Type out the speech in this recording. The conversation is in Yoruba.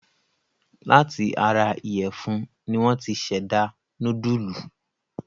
Láti ara ìyẹ̀fún ni wọ́n ti ṣẹ̀dá núdúlù.